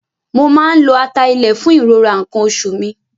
Mo máa ń lo ata ilẹ̀ fún ìrora nǹkan oṣù mi.